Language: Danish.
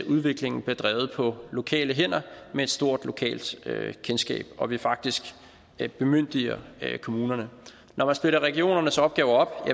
udviklingen bliver drevet på lokale hænder med et stort lokalt kendskab og at vi faktisk bemyndiger kommunerne når man splitter regionernes opgaver